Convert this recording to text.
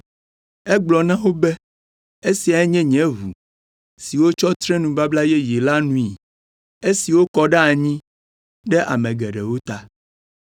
Egblɔ na wo be, “Esiae nye nye ʋu, si wotsɔ tre nubabla yeye la nui. Esi wokɔ ɖe anyi ɖe ame geɖewo ta.